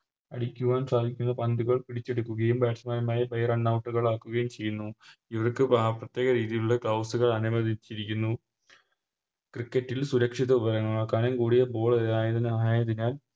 അടിക്കുവാൻ സാധിക്കുന്ന പന്തുകൾ പിടിച്ചെടുക്കുകയും Batsman മാരെ Runout ആക്കുകയും ചെയ്യുന്നു ഇവർക്ക് പ പ്രത്യേക രീതിയിൽ ഉളള Gloves അനുവദിച്ചിരിക്കുന്നു Cricket സുരക്ഷിത ഉപകരണങ്ങൾ കനം കൂടിയ Ball കൾ ആയതിനാൽ